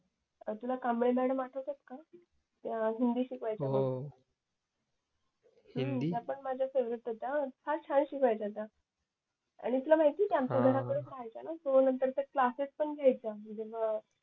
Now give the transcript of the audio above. तुला कांबळे मॅडम आठवतायत का त्या हिंदी शिकवायच्या आपल्याला त्या पण माझ्या फेवरेट होत त्या फार छान शिकवायच्या आणि तुला माहितीये ते आमच्याच घरापुढेच राह्यच्याना सो नंतर त्या क्लासेस पण घ्यायचं त्यानंतर